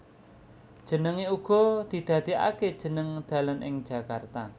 Jenenge uga didadekake jeneng dalan ing Jakarta